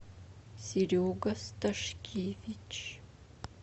серега сташкевич